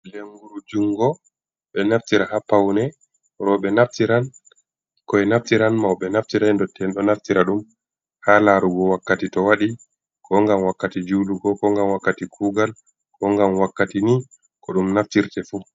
Lenguru jungo ɓe naftira ha Paune. Roɓe naftiran ɓinkoi naftiran, Mauɓe naftiran ndotti'en ɗo Naftira ɗum ha larugo wakkati to waɗi. Ko ngam wakkati julugo ko ngam wakkati Kugal ko ngam wakkati ni, Ko ɗum Naftirte fu.